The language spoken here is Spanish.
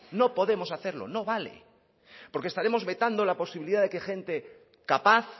no podemos hacerlo no vale porque estaremos vetando la posibilidad de que gente capaz